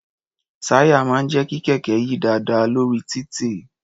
Táyà máà ń jẹ́ kí kẹ̀kẹ́ yí dáadáa lórí títì.